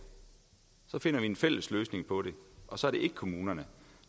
finder vi en fælles løsning på det og så er det ikke kommunerne